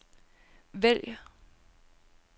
vælg